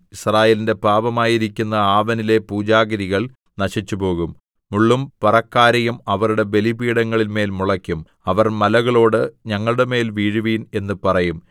യിസ്രായേലിന്റെ പാപമായിരിക്കുന്ന ആവെനിലെ പൂജാഗിരികൾ നശിച്ചുപോകും മുള്ളും പറക്കാരയും അവരുടെ ബലിപീഠങ്ങളിന്മേൽ മുളയ്ക്കും അവർ മലകളോട് ഞങ്ങളുടെമേൽ വീഴുവിൻ എന്ന് പറയും